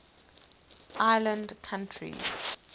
island countries